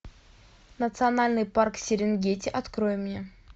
национальный парк серенгети открой мне